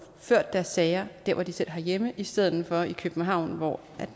ført deres sager der hvor de selv har hjemme i stedet for i københavn hvor